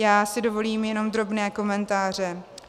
Já si dovolím jenom drobné komentáře.